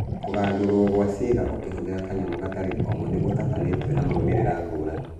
Kũgandũrwo gwa ciĩga ũkĩhũthĩra kanyamu gatarĩ komu nĩgũtabanĩtio na maumĩrĩra ngũrani